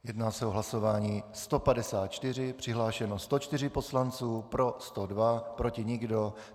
Jedná se o hlasování 154, přihlášeno 104 poslanců, pro 102, proti nikdo.